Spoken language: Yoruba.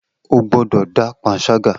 O gbọdọ da panṣaga!